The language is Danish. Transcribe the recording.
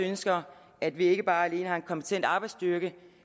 ønsker at vi ikke bare lige har en kompetent arbejdsstyrke